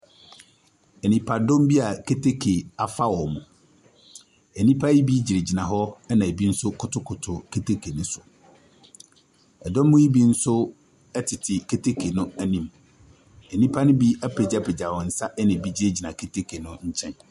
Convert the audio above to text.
Nnipadɔm bi a keteke afa wɔn. Nnipa yi bi gyinagyina hɔ na ebi nso kotokoto keteke no so. Dɔm yi nso tete keteke no anim. Nnipa no bi apagyapagya wɔ nsa na ebi gyinagyina keteke no nkyɛn.